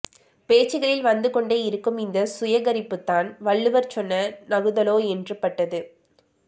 பேச்சுகளில் வந்துகொண்டே இருக்கும் இந்த சுயகரிப்புதான் வள்ளுவர் சொன்ன நகுதலோ என்று பட்டது